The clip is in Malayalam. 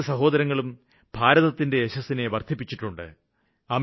ഈ രണ്ടു സഹോദരങ്ങളും ഭാരതത്തിന്റെ യശസ്സിനെ വര്ദ്ധിപ്പിച്ചിട്ടുണ്ട്